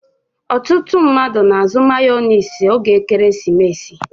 Ọtụtụ mmadụ n'azụ mayones oge ekeresimesi.